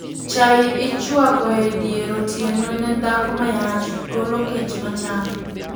Chai ichwako e dier otieno ne dhako mayach, golo kech machame